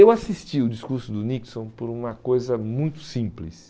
Eu assisti o discurso do Nixon por uma coisa muito simples.